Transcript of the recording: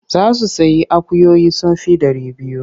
Za su sayi akuyoyi sun fi ɗari biyu.